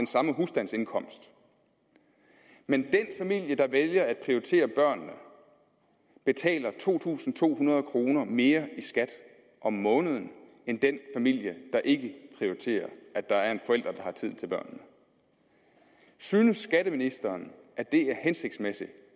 samme husstandsindkomst men den familie der vælger at prioritere børnene betaler to tusind to hundrede kroner mere i skat om måneden end den familie der ikke prioriterer at der er en forælder har tid til børnene synes skatteministeren at det er hensigtsmæssigt